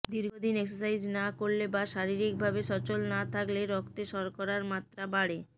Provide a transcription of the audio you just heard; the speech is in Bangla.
দীর্ঘদিন এক্সারসাইজ না করলে বা শারীরিক ভাবে সচল না থাকলে রক্তে শর্করার মাত্রা বাড়ে